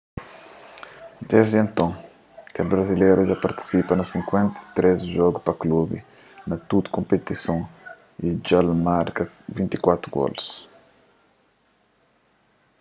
desdi nton kel brazileru dja partisipa na 53 jogu pa klubi na tudu konpetison y dja el marka 24 golus